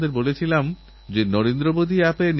গুজরাতেও বনমহোৎসবের এক উজ্জ্বল ধারাবাহিকতা আছে